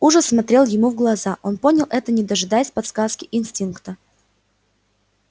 ужас смотрел ему в глаза он понял это не дожидаясь подсказки инстинкта